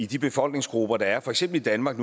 de befolkningsgrupper der er for eksempel i danmark